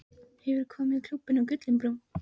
Hefurðu komið í Klúbbinn við Gullinbrú?